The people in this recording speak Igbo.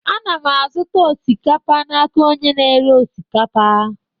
Ana m azụta osikapa n'aka onye na-ere osikapa.